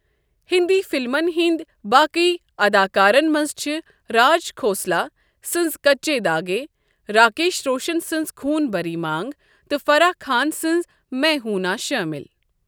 ہندی فِلمَن ہنٛدۍ باقی اداکارن منٛز چھِ راج کھوسلا سنٛز کچے داھگے، راکیش روشن سنٛز خون بٔری مانگ تہٕ فرح خان سنٛز میں ہوں نا شٲمِل۔